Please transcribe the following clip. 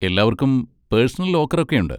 എല്ലാവർക്കും personal locker ഒക്കെയുണ്ട്.